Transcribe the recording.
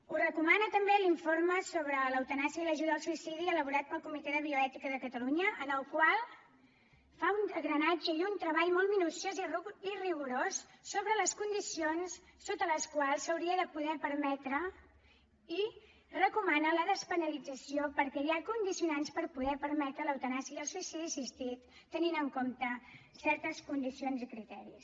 ho recomana també l’informe sobre l’eutanàsia i l’ajuda al suïcidi elaborat pel comitè de bioètica de catalunya en el qual fa un drenatge i un treball molt minuciós i rigorós sobre les condicions sota les quals s’hauria de poder permetre i recomana la despenalització perquè hi ha condicionants per poder permetre l’eutanàsia i el suïcidi assistit tenint en compte certes condicions i criteris